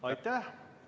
Aitäh!